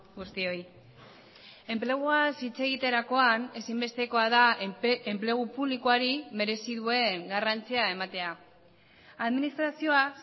guztioi enpleguaz hitz egiterakoan ezinbestekoa da enplegu publikoari merezi duen garrantzia ematea administrazioa